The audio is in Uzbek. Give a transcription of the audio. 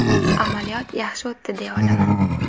Amaliyot yaxshi o‘tdi deya olaman.